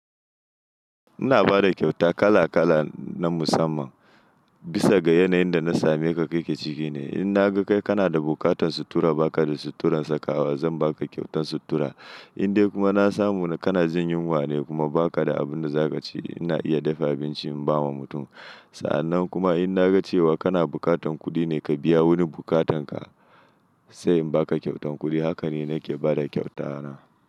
Ina ba da kyauta kala kala na musamman, bisa ga yanayin da na same ka kake ciki ne. In na ga kai kana da buƙatan sutura ba ka da suturan sakawa, zan ba ka ƙyautan sutura. In dai kuma na samu kana jin yunwa ne kuma ba ka da abin da za ka ci, ina iya dafa abinci in ba wa mutum. Sa'annan kuma in na ga cewa kana bukatan kuɗi ne ka biya wani buƙatan ka, sai in ba ka ƙyautan kuɗi. Haka ne nake ba da ƙyautata.